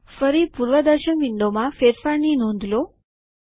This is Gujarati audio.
ફરી પૂર્વદર્શન વિન્ડોમાં ફેરફારની નોંધ લો